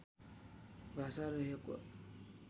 भाषा रहेको